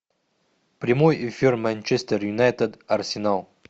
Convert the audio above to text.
прямой эфир манчестер юнайтед арсенал